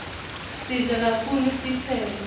sidle kaktulu titseco